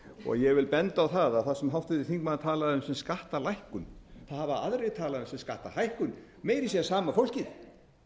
og ég vil benda á það að það sem háttvirtur þingmaður talaði um sem skattalækkun hafa aðrir talað um sem skattahækkun meira að segja sama fólkið